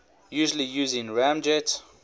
usually using ramjet